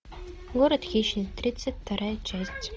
город хищниц тридцать вторая часть